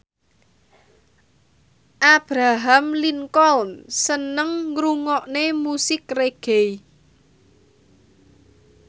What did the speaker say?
Abraham Lincoln seneng ngrungokne musik reggae